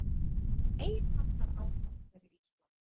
Meiriháttar áfall fyrir Ísland